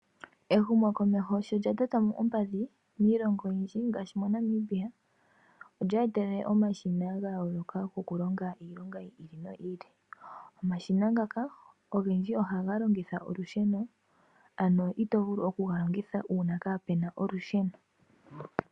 Ehumo komeho sho lya lyata ompadhi miilongo oyindji ngashi Namibia, olya etelele omashina ga yooloka goku longa iilonga yiili no yiili. Omashina ngaka ogendji ohaga longitha olusheno na ito vulu oku ga longitha uuna kapenasha olusheno